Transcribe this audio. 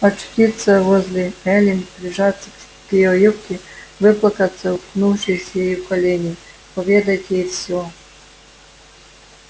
очутиться возле эллин прижаться к её юбке выплакаться уткнувшись ей в колени поведать ей всё